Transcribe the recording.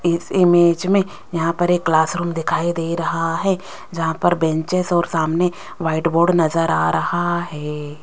इस इमेज में यहां पर एक क्लास रूम दिखाई दे रहा है जहां पर बेंचेज और सामने व्हाइट बोर्ड नजर आ रहा है।